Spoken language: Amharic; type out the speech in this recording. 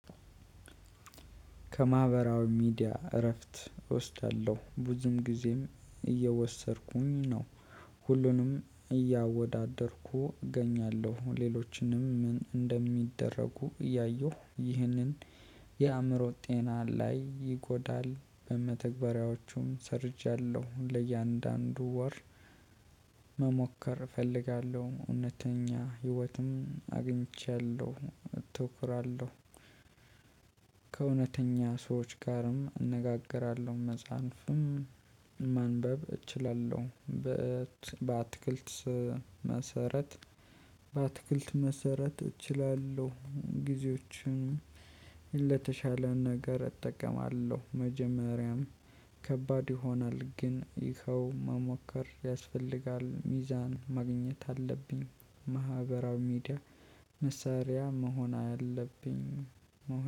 ከማህበራዊ ሚዲያ እረፍት እወስዳለሁ ብዙም ጊዜም እየወሰድኩኝ ነው። ሁሉንም እያወዳደርኩ እገኛለሁ ሌሎችንም ምን እንደሚደረጉ እያየሁ ይህንን የአእምሮ ጤና ላይ ይጎዳል። በመተግበሪያዎቹም ሰርቻለሁ ለእያንዳንዱ ወር መሞከር እፈልጋለሁ። እውነተኛ ህይወትም አግኝቻለሁ አተኩራለሁ። ከእውነተኛ ሰዎች ጋርም እነጋገራለሁ። መጽሐፍም ማንበብ እችላለሁ። በአትክልት መሰረት በአትክልት መሰረት እችላለሁ። ጊዜዎችን ለተሻለ ነገር እጠቀማለሁ። መጀመሪያም ከባድ ይሆናል ግን ይኸው መሞከር ያስፈልጋል። ሚዛን ማግኘት አለብኝ። ማህበራዊ ሚዲያ መሳሪያ መሆን አለብኝ።